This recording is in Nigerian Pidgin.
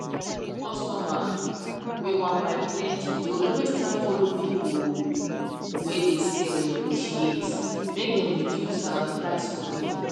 customer whey wan buy plenty dey always try follow people oh whey dey sell negotiate make them reduce um price for them